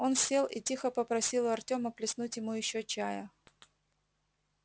он сел и тихо попросил у артема плеснуть ему ещё чая